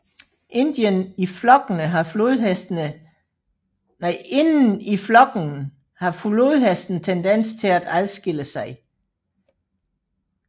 Inden i flokkene har flodhestene tendens til at adskille sig